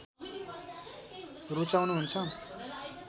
रुचाउनु हुन्छ